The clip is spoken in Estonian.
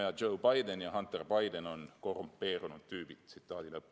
Jah, Joe Biden ja Hunter Biden on korrumpeerunud tüübid.